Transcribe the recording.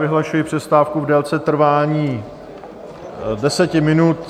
Vyhlašuji přestávku v délce trvání deseti minut.